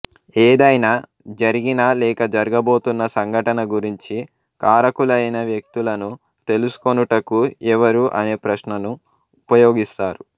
ఏదైనా జరిగిన లేక జరగబోతున్న సంఘటన గురించి కారకులయిన వ్యక్తులను తెలుసుకొనుటకు ఎవరు అనే ప్రశ్నను ఉపయోగిస్తారు